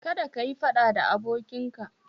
Kada kayi faɗa da abokinka